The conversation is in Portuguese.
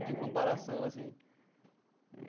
De comparação, assim.